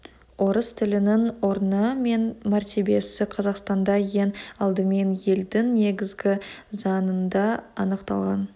орыс тілінің орны мен мәртебесі қазақстанда ең алдымен елдің негізгі заңында анықталған